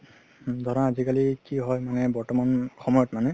ধৰা আজিকালি কি হয় মানে বৰ্তমান সময়ত মানে